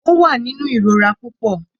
Ó wà nínú ìrora púpọ.